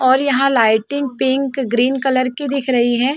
और यहाँ lighting pink green colour की दिख रही हैं।